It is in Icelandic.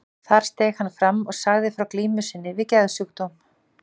Þar steig hann fram og sagði frá glímu sinni við geðsjúkdóm.